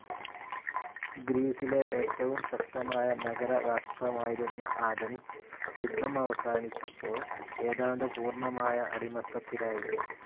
ഗ്രീസിലെ ഏറ്റവും ശക്തമായ നഗരരാഷ്ട്രമായിരുന്ന ആഥൻസ് യുദ്ധം അവസാനിച്ചപ്പോൾ, ഏതാണ്ട് പൂർണമായ അടിമത്തത്തിലായി.